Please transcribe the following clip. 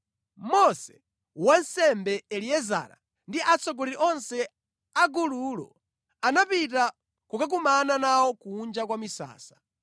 Mose, wansembe Eliezara ndi atsogoleri onse a gululo anapita kukakumana nawo kunja kwa misasa.